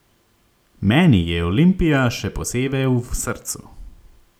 Meni je Olimpija še posebej v srcu.